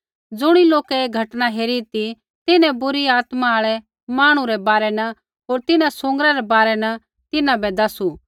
ज़ुणी लोकै ऐ घटना हेरी ती तिन्हैं बुरी आत्मा आल़ै मांहणु रै बारै न होर तिन्हां सूँगरै रै बारै न तिन्हां बै दसू